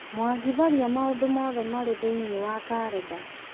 mwangi tharia maũndũ mothe marĩ thĩiniĩ wa karenda